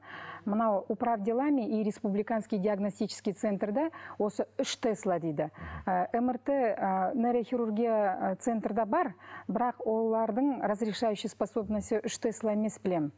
мынау управ делами и республиканский диагностический центрде осы үш тесла дейді ы мрт ы нейрохирургия ы центрде бар бірақ олардың разрешающий способності үш тесла емес білемін